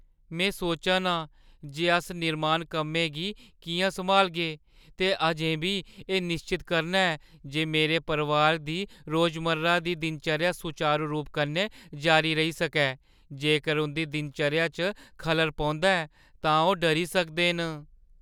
में सोचा ना आं जे अस निर्माण कम्मै गी किʼयां सम्हालगे ते अजें बी एह् निश्चत करना ऐ जे मेरे परोआर दी रोजमर्रा दी दिनचर्या सुचारू रूप कन्नै जारी रेही सकै। जेकर उंʼदी दिनचर्या च खलल पौंदा ऐ तां ओह् डरी सकदे न।